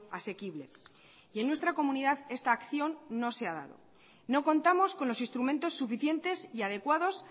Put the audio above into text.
asequible y en nuestra comunidad esta acción no se ha dado no contamos con los instrumentos suficientes y adecuados